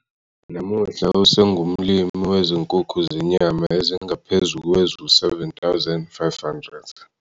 Namuhla, usengumlimi wezinkukhu zenyama ezingaphezu kwezi-7 500.